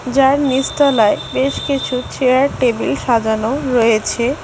যার নিচ তলায় বেশ কিছু চেয়ার টেবিল সাজানো রয়েছে।